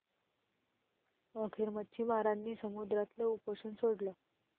अखेर मच्छीमारांनी समुद्रातलं उपोषण सोडलं